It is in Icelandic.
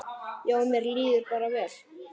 Já, mér líður bara vel.